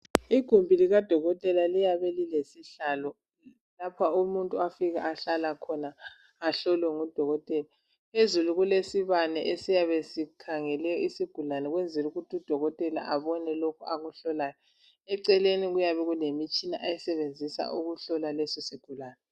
Igumbi likadokotela liyabe lilesihlalo lapho umuntu afika ahlala khona ahlolwe ngudokotela. Phezulu kulesibane esiyabe sikhangele isigulani ukwenzela ukuthi udokotela abone lokhu akuhlolayo. Eceleni kuyabe kulemitshina ayisebenzisa ukuhlola leso sigulani.